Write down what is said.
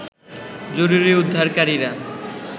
জরুরী উদ্ধারকারীরা